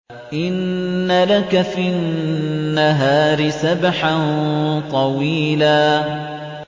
إِنَّ لَكَ فِي النَّهَارِ سَبْحًا طَوِيلًا